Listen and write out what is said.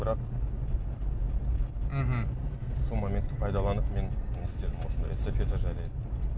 бірақ мхм сол моментті пайдаланып мен не істедім осындай эстафета жайлы айттым